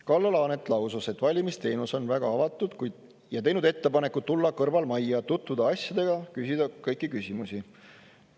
Kalle Laanet lausus, et valimisteenistus on väga avatud ja teinud ettepaneku tulla kõrvalmajja, tutvuda asjadega, küsida kõiki küsimusi.